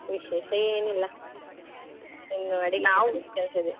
ವಿಶೇಷ ಏನ್ ಇಲ್ಲ, ಇನ್ನು ಅಡಿಗೆ ಮಾಡುದು ಕೆಲ್ಸ ಇದೆ